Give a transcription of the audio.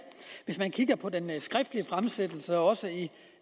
hvis man kigger på den skriftlige fremsættelse og også i